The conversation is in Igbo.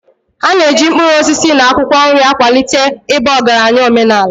A na-eji mkpụrụ osisi na akwụkwọ nri akwalite ịba ọgaranya omenala.